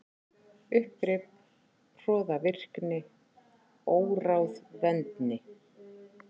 Uppgrip, hroðvirkni, óráðvendni.